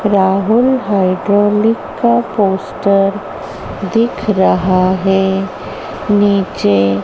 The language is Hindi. राहुल हाइड्रोलिक का पोस्टर दिख रहा है। नीचे--